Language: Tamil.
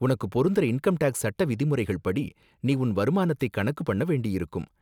உனக்கு பொருந்துற இன்கம் டேக்ஸ் சட்ட விதிமுறைகள் படி நீ உன் வருமானத்தை கணக்கு பண்ண வேண்டியிருக்கும்.